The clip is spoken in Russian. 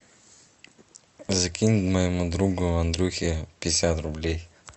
закинь моему другу андрюхе пятьдесят рублей